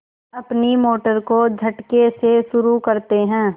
अपनी मोटर को झटके से शुरू करते हैं